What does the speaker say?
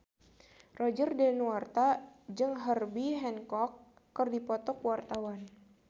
Roger Danuarta jeung Herbie Hancock keur dipoto ku wartawan